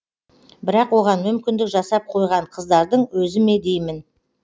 бірақ оған мүмкіндік жасап қойған қыздардың өзі ме деймін